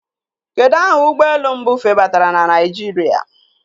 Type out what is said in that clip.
Kedụ aha ụgbọelu mbụ febatara na Naijiria?